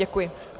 Děkuji.